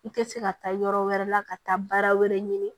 I tɛ se ka taa yɔrɔ wɛrɛ la ka taa baara wɛrɛ ɲini